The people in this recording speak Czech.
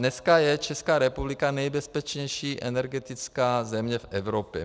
Dneska je Česká republika nejbezpečnější energetická země v Evropě.